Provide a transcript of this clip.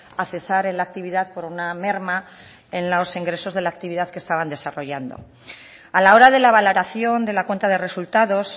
a cesar en la actividad por una merma en los ingresos de la actividad que estaban desarrollando a la hora de la valoración de la cuenta de resultados